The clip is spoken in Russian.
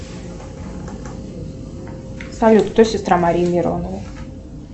салют кто сестра марии мироновой